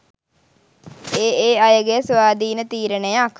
ඒ ඒ අයගේ ස්වාධීන තීරණයක්.